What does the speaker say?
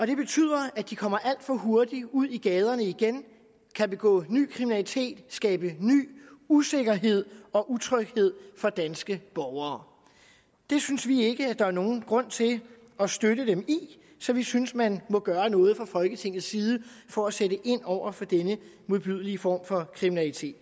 det betyder at de kommer alt for hurtigt ud i gaderne igen kan begå ny kriminalitet og skabe ny usikkerhed og utryghed for danske borgere det synes vi ikke der er nogen grund til at støtte dem i så vi synes man må gøre noget fra folketingets side for at sætte ind over for denne modbydelige form for kriminalitet